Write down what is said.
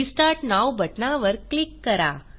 restart now बटनावर click करा